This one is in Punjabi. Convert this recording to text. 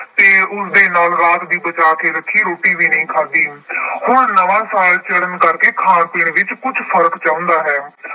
ਅਤੇ ਉਸਦੇ ਨਾਲ ਰਾਤ ਦੀ ਬਚਾ ਕੇ ਰੱਖੀ ਰੋਟੀ ਵੀ ਨਹੀਂ ਖਾਧੀ। ਹੁਣ ਨਵਾਂ ਸਾਲ ਚੜ੍ਹਨ ਕਰਕੇ ਖਾਣ ਪੀਣ ਵਿੱਚ ਕੁੱਛ ਫਰਕ ਚਾਹੁੰਦਾ ਹੈ।